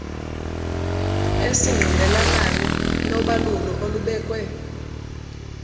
esingqinelanayo nobalulo olubekwe